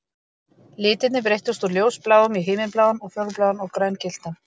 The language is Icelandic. Litirnir breyttust úr ljósbláum í himinbláan og fjólubláan og grængylltan